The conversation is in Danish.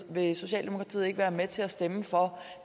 vil socialdemokratiet ikke være med til at stemme for